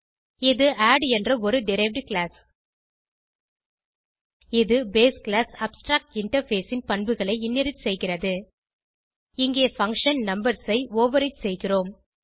இது ஆட் என்ற ஒரு டெரைவ்ட் கிளாஸ் இது பேஸ் கிளாஸ் அப்ஸ்ட்ராக்டின்டர்ஃபேஸ் ன் பண்புகளை இன்ஹெரிட் செய்கிறது இங்கே பங்ஷன் நம்பர்ஸ் ஐ ஓவர்ரைடு செய்கிறோம்